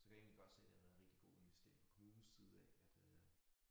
Så kan jeg egentlig godt se det har været en rigtig god investering fra kommunens side af at øh